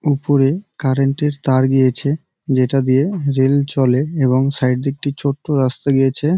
উপরে কারেন্ট -এর তার গিয়েছে যেটা দিয়ে রেল চলে এবং সাইড দিয়ে একটি ছোট্ট রাস্তা গিয়েছে।